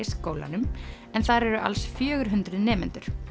skólanum en þar eru alls fjögur hundruð nemendur